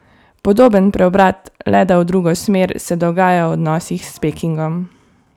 Podoben preobrat, le da v drugo smer, se dogaja v odnosih s Pekingom.